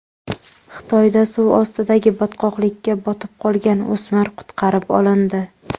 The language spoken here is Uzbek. Xitoyda suv ostidagi botqoqlikka botib qolgan o‘smir qutqarib olindi.